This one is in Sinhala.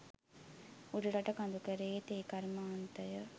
උඩරට කඳුකරයේ තේ කර්මාන්තය